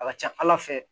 A ka ca ala fɛ